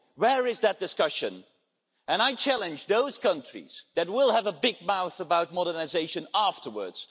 Where is that discussion? I challenge those countries that will have a big mouth about modernisation afterwards.